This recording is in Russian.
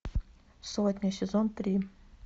сотня сезон три